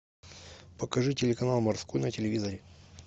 покажи телеканал морской на телевизоре